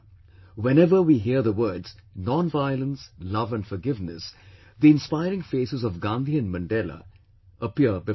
Whenever we hear the words nonviolence, love and forgiveness, the inspiring faces of Gandhi and Mandela appear before us